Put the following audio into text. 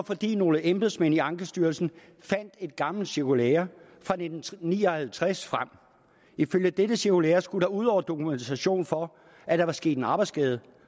fordi nogle embedsmænd i ankestyrelsen fandt et gammelt cirkulære fra nitten ni og halvtreds frem ifølge dette cirkulære skulle der ud over dokumentation for at der var sket en arbejdsskade